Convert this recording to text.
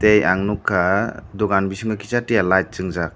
tei ang nukha dukan bisingo kisa tiya light chwngjak.